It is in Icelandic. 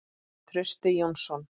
Trausti Jónsson